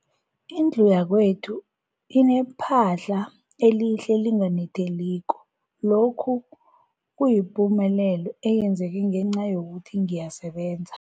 Indlu yakwethu inephahla elihle, elinganetheliko, lokhu kuyipumelelo eyenzeke ngenca yokuthi ngiyasebenza.